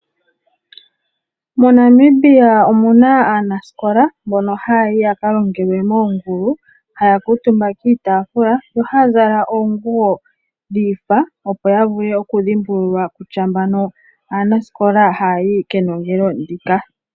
MoNamibia omu na aanasikola mbono haya yi ya ka longelwe moongulu, haya kuutumba kiitaafula yo haya zala oonguwo dha faathana, opo ya vule okudhimbululwa kutya mbano aanasikola haya yi kenongelo ndika.